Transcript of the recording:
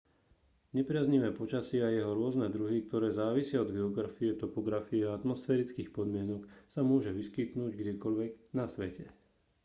nepriaznivé počasie a jeho rôzne druhy ktoré závisia od geografie topografie a atmosférických podmienok sa môže vyskytnúť kdekoľvek na svete